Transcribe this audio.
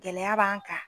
Gɛlɛya b'an kan